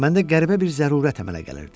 Məndə qəribə bir zərurət əmələ gəlirdi.